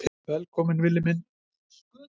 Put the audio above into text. Velkominn Villi minn.